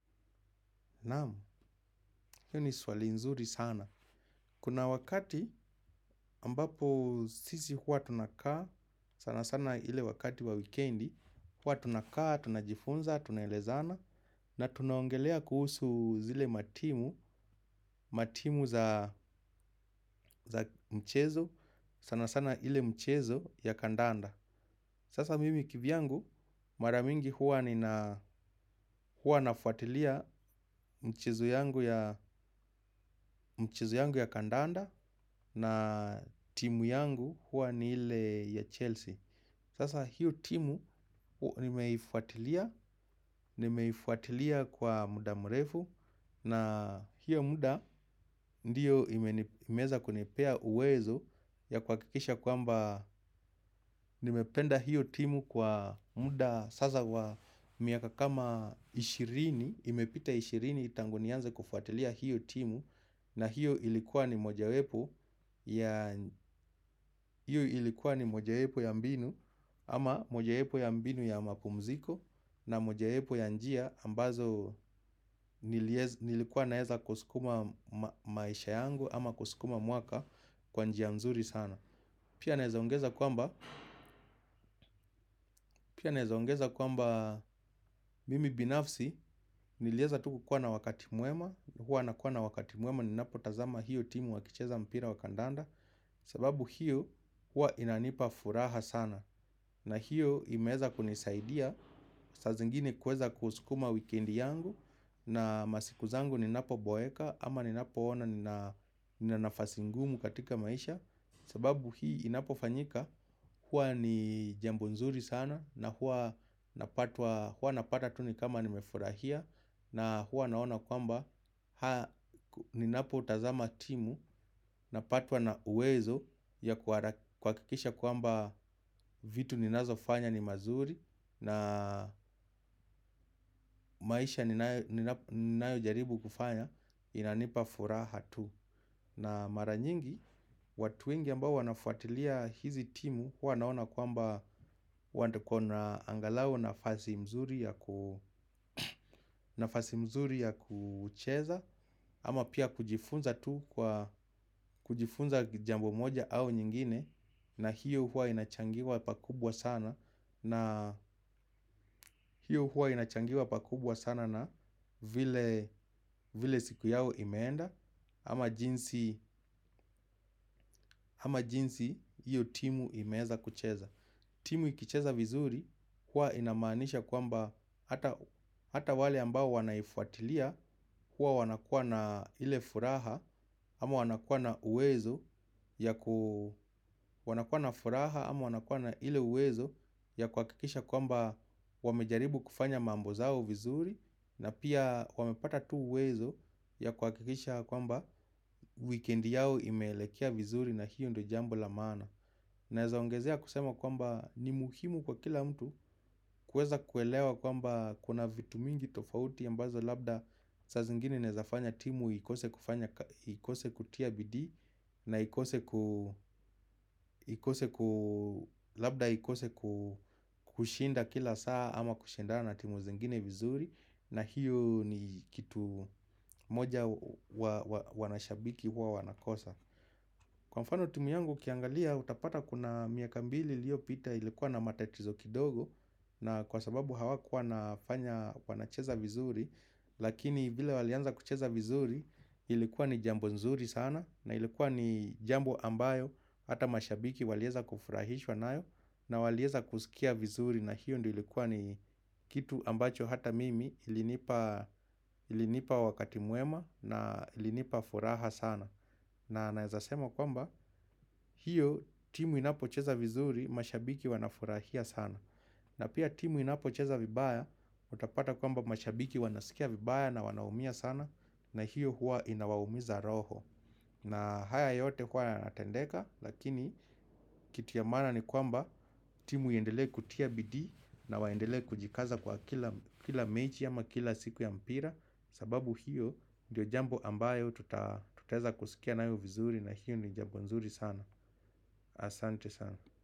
Nam, hii ni swali nzuri sana. Kuna wakati ambapo sisi huwa tunakaa, sana sana ile wakati wa wikendi, hua tunakaa, tunajifunza, tunaelezana, na tunaongelea kuhusu zile matimu, matimu za mchezo, sana sana ile mchezo ya kandanda. Sasa mimi kivyangu mara mingi huwa nina huwa nafuatilia michezu yangu yangu ya kandanda na timu yangu huwa ni ile ya Chelsea. Sasa hiyo timu nimeifuatilia, nimeifuatilia kwa muda mrefu na hiyo muda ndiyo imeweza kunipea uwezo ya kuhakikisha kwamba nimependa hiyo timu kwa muda sasa wa miaka kama ishirini, imepita ishirini tangu nianze kufuatilia hiyo timu. Na hiyo ilikuwa ni moja wepo mojaepo ya mbinu ama mojaepo ya mbinu ya mapumziko. Na mojaepo ya njia ambazo nilikuwa naeza kusukuma maisha yangu ama kusukuma mwaka kwa njia mzuri sana. Pia naweza ongeza kwamba mimi binafsi nilieza tu kukuwa na wakati mwema. Hua nakuwa na wakati mwema ninapotazama hiyo timu wakicheza mpira wa kandanda. Sababu hiyo hua inanipa furaha sana na hiyo imeweza kunisaidia saa zingine kuweza kuskuma wikendi yangu na masiku zangu ninapoboeka ama ninapoona nina nafasi ngumu katika maisha. Sababu hii inapofanyika huwa ni jambo nzuri sana na huwa napata tu ni kama nimefurahia. Na huwa naona kwamba haa ninapotazama timu napatwa na uwezo ya kuhakikisha kwamba vitu ninazofanya ni mazuri. Na maisha ninayojaribu kufanya inanipa furaha tu. Na mara nyingi, watu wengi ambao wanafuatilia hizi timu wanaona kwamba wako na angalau nafasi mzuri ya kucheza. Ama pia kujifunza tu kwa kujifunza jambo moja au nyingine na hiyo hua inachangiwa pakubwa sana. Na hiyo hua inachangiwa pakubwa sana na vile siku yao imeenda ama jinsi ama jinsi hiyo timu imeweza kucheza timu ikicheza vizuri hua inamanisha kwamba hata wale ambao wanaifuatilia hua wanakuwa na ile furaha. Ama wanakuwa na uwezo ya kuhakikisha kwamba wamejaribu kufanya mambo zao vizuri na pia wamepata tu uwezo ya kuhakikisha kwamba wikendi yao imeelekea vizuri na hiyo ndo jambo la maana naweza ongezea kusema kwamba ni muhimu kwa kila mtu kueza kuelewa kwamba kuna vitu mingi tofauti ya ambazo labda saa zingine inaeza fanya timu ikose kufanya na ikose kutia bidii na ikose ku labda ikose kushinda kila saa. Ama kushindana na timu zingine vizuri na hiyo ni kitu moja wanashabiki huwa wanakosa. Kwa mfano timu yangu ukiangalia utapata kuna miaka mbili iliopita ilikuwa na matatizo kidogo. Na kwa sababu hawakua nafanya wanacheza vizuri. Lakini vile walianza kucheza vizuri ilikuwa ni jambo nzuri sana. Na ilikuwa ni jambo ambayo hata mashabiki walieza kufurahishwa nayo. Na walieza kusikia vizuri na hiyo ndiyo ilikuwa ni kitu ambacho hata mimi ilinipa wakati mwema na ilinipa furaha sana. Na naeza sema kwamba hiyo timu inapocheza vizuri mashabiki wanafurahia sana. Na pia timu inapocheza vibaya utapata kwamba mashabiki wanasikia vibaya na wanaumia sana na hiyo hua inawaumiza roho. Na haya yote kwa yanatendeka lakini kiti ya maana ni kwamba timu iendele kutia bidii na waendele kujikaza kwa kila mechi ama kila siku ya mpira. Sababu hiyo ndio jambo ambayo tutaza kusikia nayo vizuri na hiyo ni jambo nzuri sana. Asante sana.